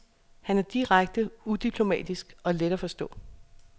Han er direkte, udiplomatisk og let at forstå.